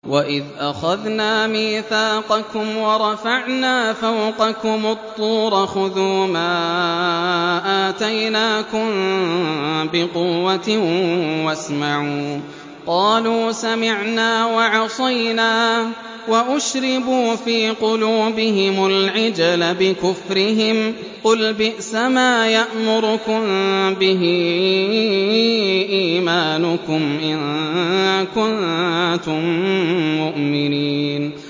وَإِذْ أَخَذْنَا مِيثَاقَكُمْ وَرَفَعْنَا فَوْقَكُمُ الطُّورَ خُذُوا مَا آتَيْنَاكُم بِقُوَّةٍ وَاسْمَعُوا ۖ قَالُوا سَمِعْنَا وَعَصَيْنَا وَأُشْرِبُوا فِي قُلُوبِهِمُ الْعِجْلَ بِكُفْرِهِمْ ۚ قُلْ بِئْسَمَا يَأْمُرُكُم بِهِ إِيمَانُكُمْ إِن كُنتُم مُّؤْمِنِينَ